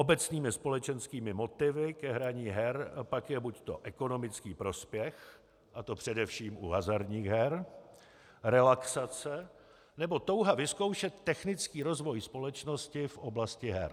Obecnými společenskými motivy ke hraní her pak je buď ekonomický prospěch, a to především u hazardních her, relaxace nebo touha vyzkoušet technický rozvoj společnosti v oblasti her.